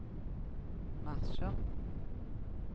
marsjer